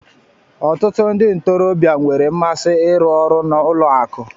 Ọtụtụ ndị ntorobịa nwere mmasị ịrụ ọrụ n'ụlọ akụ.